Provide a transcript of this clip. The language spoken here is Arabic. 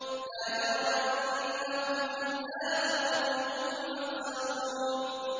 لَا جَرَمَ أَنَّهُمْ فِي الْآخِرَةِ هُمُ الْأَخْسَرُونَ